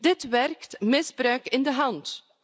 Dit werkt misbruik in de hand.